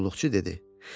Qulluqçu dedi: